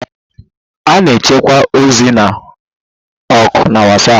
A na-echekwa ozi na oku na WhatsApp